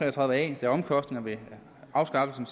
og tredive a da omkostningerne ved afskaffelsen